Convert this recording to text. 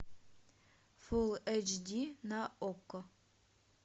фул эйч ди на окко